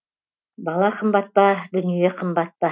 бала қымбат па дүние қымбат па